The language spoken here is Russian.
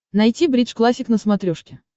найти бридж классик на смотрешке